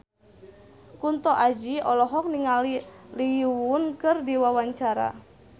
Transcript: Kunto Aji olohok ningali Lee Yo Won keur diwawancara